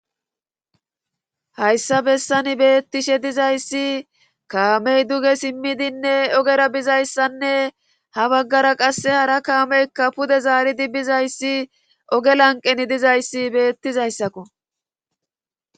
hayssa bessani beettishe dizayssi kaamey duge simmidinne ogera bizayssanne ha baggara qasse hara kaameykka pude zaaridibbizayssi oge lanqeni dizayssi beettizayssakko